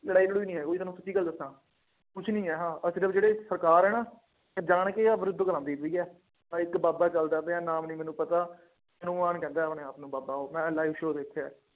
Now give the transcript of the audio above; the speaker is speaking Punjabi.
ਲੜਾਈ ਲੜੂਈ ਨਹੀਂ ਹੈ। ਊਈਂ ਤੁਹਾਨੂੰ ਸਿੱਧੀ ਗੱਲ ਦੱਸਾਂ। ਕੁੱਛ ਨਹੀਂ ਆਹ, ਆਹ ਸਿਰਫ ਜਿਹੜੇ ਸਰਕਾਰ ਹੈ ਨਾ, ਇਹ ਜਾਣ ਕੇ ਆਹ ਵਿਰੁੱਧ ਕਰਵਾਉਂਦੀ ਪਈ ਆ, ਇੱਕ ਬਾਬਾ ਚੱਲਦਾ ਪਿਆ, ਨਾਮ ਨਹੀਂ ਮੈਨੂੰ ਪਤਾ, ਹਨੂੰਮਾਨ ਕਹਿੰਦਾ ਆਪਣੇ ਆਪ ਨੂੰ ਬਾਬਾ ਉਹ ਮੈਂ live show ਦੇਖਿਆ।